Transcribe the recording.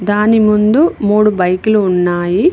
దాని ముందు మూడు బైక్ లు ఉన్నాయి.